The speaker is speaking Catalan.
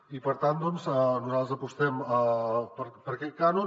i per tant nosaltres apostem per aquest cànon